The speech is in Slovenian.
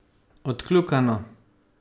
Odkljukano.